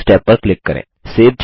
close tab पर click करें